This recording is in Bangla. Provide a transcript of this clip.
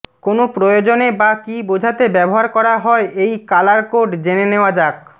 কোন প্রয়োজনে বা কী বোঝাতে ব্যবহার করা হয় এই কালার কোড জেনে নেওয়া যাক